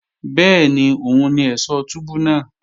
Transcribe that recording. Bẹ́ẹ̀ni òun ni ẹ̀ṣọ̀ túbú náà